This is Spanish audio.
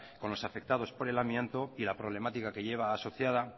con los afectados por el amianto y la problemática que lleva asociada